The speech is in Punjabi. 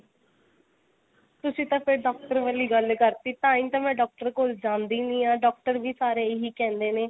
ਤੁਸੀ ਤਾਂ ਫੇਰ doctor ਵਾਲੀ ਗੱਲ ਕਰਤੀ ਤਾਂਹੀ ਤਾਂ ਮੈਂ doctor ਕੋਲ ਜਾਂਦੀ ਨੀ ਆ doctor ਵੀ ਸਾਰੇ ਇਹੀ ਕਹਿੰਦੇ ਨੇ